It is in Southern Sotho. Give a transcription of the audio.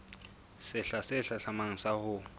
sehla se hlahlamang sa ho